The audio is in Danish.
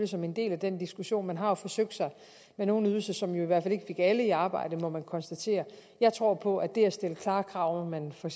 som en del af den diskussion og man har forsøgt sig med nogle ydelser som i hvert fald ikke fik alle i arbejde må vi konstatere jeg tror på at det at stille klare krav om at man for